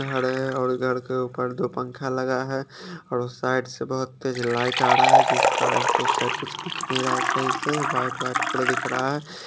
खड़े है और घर के ऊपर दो पंखा लग है और साइड से बोहोत तेज आरहा है जिस कारन सो सेड कुछ दिख नही रह है सही से वाइट पूरा दिख रहा है ।